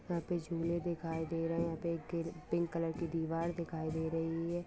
यहां पे झूले दिखाई दे रहे हैं। यहां पे एक गे पिंक कलर की दीवार दिखाई दे रही है।